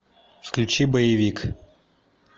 включи боевик